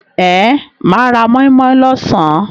Ehn, mà á ra móínmóín lọ́sàn.